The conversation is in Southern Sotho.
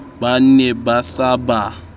ba ne ba sa ba